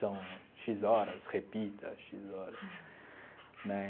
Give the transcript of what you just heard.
São xis horas, repita, xis horas né.